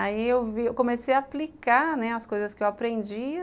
Aí eu vi, comecei a aplicar, né, as coisas que eu aprendia